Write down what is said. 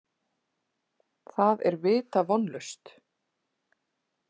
Það er vita vonlaust.